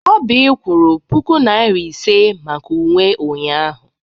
Oby kwụrụ puku Naịra ise maka uwe ụnyahụ.